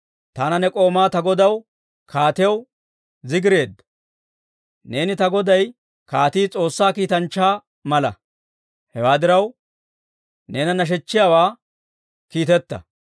taana ne k'oomaa ta godaw kaatiyaw zigireedda. Neeni ta goday kaatii S'oossaa kiitanchchaa mala; hewaa diraw, neena nashechchiyaawaa kiiteta.